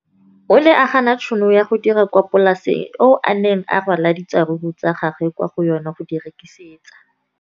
O ne a gana tšhono ya go dira kwa polaseng eo a neng rwala diratsuru kwa go yona go di rekisa.